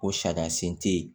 O sariya sen te yen